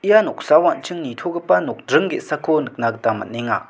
ia noksao an·ching nitogipa nokdring ge·sako nikna gita man·enga.